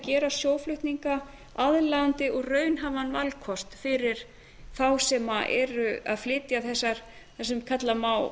gera sjóflutninga aðlaðandi og raunhæfan valkost fyrir þá sem eru að flytja þessar það sem kalla má